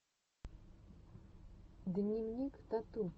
дневник тату